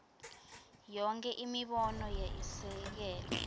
yonkhe imibono yesekelwe